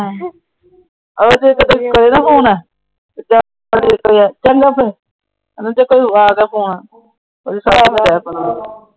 ਓਦਾਂ ਫੋਨ ਏ ਚੰਗਾ ਫਿਰ ਆ ਫੋਨ